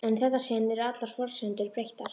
En í þetta sinn eru allar forsendur breyttar.